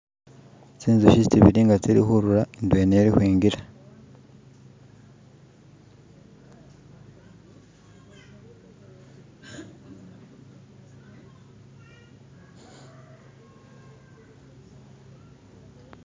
tsinzukhi tsibili nga tsilikhurura ndwela ili ukhwingila